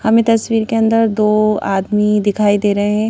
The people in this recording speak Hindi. हमें तस्वीर के अंदर दो आदमी दिखाई दे रहे--